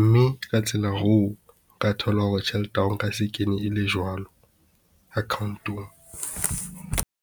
mme ka tsela eo o ka thola hore tjhelete ya hao e nka se kene e le jwalo account-ong.